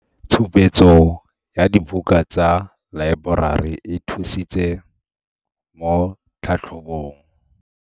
Tshupetso ya dibuka tsa laeborari e thusitse mo tlhatlhobong.